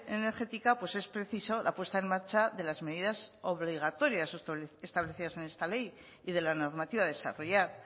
energética pues es preciso la puesta en marcha de las medidas obligatorias o establecidas en esta ley y de la normativa a desarrollar